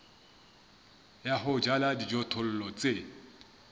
ya ho jala dijothollo tse